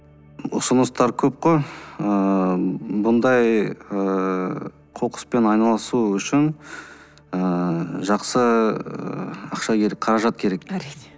ұсыныстар көп қой ыыы бұндай ыыы қоқыспен айналысу үшін ыыы жақсы ақша қаражат керек әрине